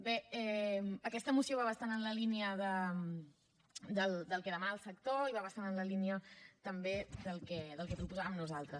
bé aquesta moció va bastant en la línia del que demana el sector i va bastant en la línia també del que proposàvem nosaltres